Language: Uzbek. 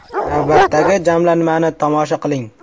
Navbatdagi jamlanmani tomosha qiling.